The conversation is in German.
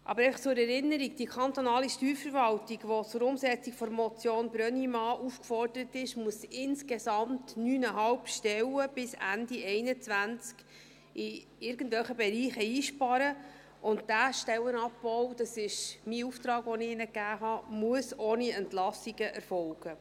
Aber einfach zur Erinnerung: Die kantonale Steuerverwaltung, die zur Umsetzung der Motion Brönnimann aufgefordert ist, muss bis Ende 2021 insgesamt 9,5 Stellen in irgendwelchen Bereichen einsparen, und dieser Stellenabbau, das ist mein Auftrag, den ich ihnen gab, muss ohne Entlassungen erfolgen.